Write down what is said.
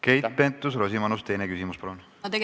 Keit Pentus-Rosimannus, teine küsimus, palun!